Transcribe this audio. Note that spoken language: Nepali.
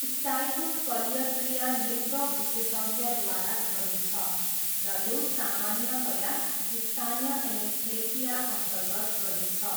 स्टाईको शल्यक्रिया नेत्र विशेषज्ञद्वारा गरिन्छ र यो सामान्यतया स्थानीय एनेस्थेसियाअन्तर्गत गरिन्छ।